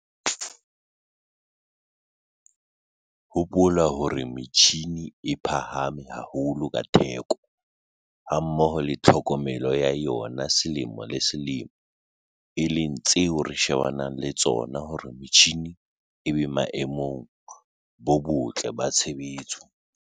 HOPOLA HORE METJJHINE E PHAHAME HAHOLO KA THEKO, HAMMOHO LE TLHOKOMELO YA YONA SELEMO LE SELEMO, E LENG TSEO RE SHEBANANG LE TSONA HORE METJHINE E BE BOEMONG BO BOTLE BA TSHEBETSO.